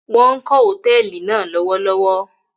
Wọn kó Hotẹẹli náa lọwọlọwọ